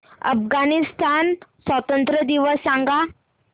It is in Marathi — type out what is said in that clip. अफगाणिस्तान स्वातंत्र्य दिवस सांगा